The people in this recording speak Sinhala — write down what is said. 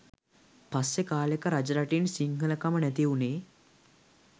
පස්සෙ කාලෙක රජරටින් සිංහලකම නැති වුනේ.